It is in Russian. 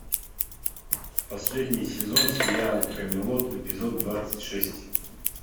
последний сезон сериал камелот эпизод двадцать шесть